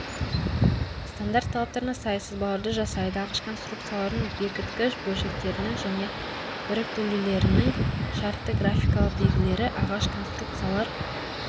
стандарт талаптарына сай сызбаларды жасайды ағаш конструкциялардың бекіткіш бөлшектерінің және біріктірулерінің шартты графикалық белгілері ағаш конструкциялар